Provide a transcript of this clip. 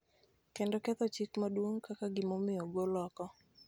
kendo ketho Chik Maduong� kaka gimomiyo ogol oko.